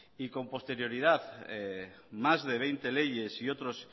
y con posterioridad más de veinte leyes y otros